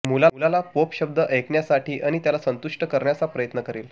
मुलाला पोप शब्द ऐकण्यासाठी आणि त्याला संतुष्ट करण्याचा प्रयत्न करेल